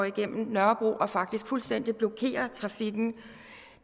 igennem nørrebro og faktisk fuldstændig blokerede trafikken og